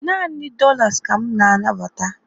Naanị dollar ka m na-anabata